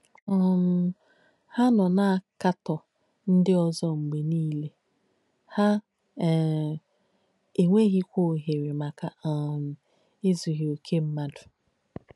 um Hà nọ̀ nà-àkàtọ́ ndí ózọ̀ mgbé nílē, hà um ènyéghīkwà óhèrē makà um èzùghì òkè m̀madù.